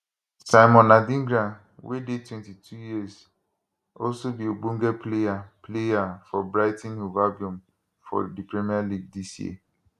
simon adingra wey dey 22 years also be ogbonge player player for brighton hove albion for di premier league dis year